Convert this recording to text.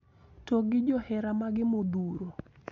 To gi johera mage modhuro